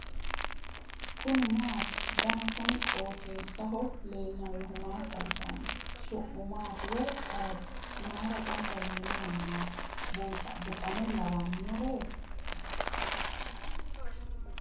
kuni maati ? danu kuni qooxeessaho leellannohu maa xawisanno su'mu maati woy ayeti ? mayra gamba yiino mannaati buxane lawannoreeti